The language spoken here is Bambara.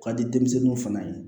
K'a di denmisɛnninw fana ye